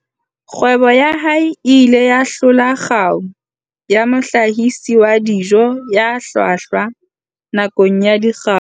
Kgwebo ya hae e ile ya hlola kgau ya mohlahisi wa dijo ya hlwahlwa nakong ya Dikgau